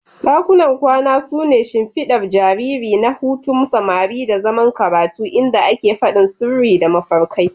Dakunan kwana su ne shimfiɗar jariri na hutun samari da zaman karatu, inda ake faɗin sirri da mafarkai.